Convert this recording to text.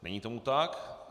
Není tomu tak.